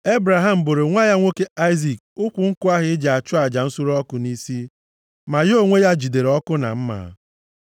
Ebraham boro nwa ya nwoke Aịzik ukwu nkụ ahụ e ji achụ aja nsure ọkụ nʼisi, ma ya onwe ya jidere ọkụ na mma.